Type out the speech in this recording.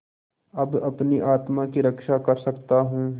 अब अपनी आत्मा की रक्षा कर सकता हूँ